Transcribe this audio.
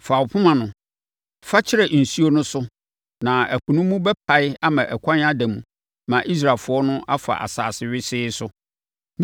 Fa wo poma no. Fa kyerɛ nsuo no so na ɛpo no mu bɛpae ama ɛkwan ada mu ma Israelfoɔ no afa asase wesee so.